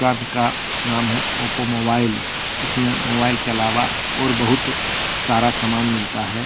का नाम है ओप्पो मोबाइल इसमें मोबाइल के अलावा और बहुत सारा सामान मिलता है।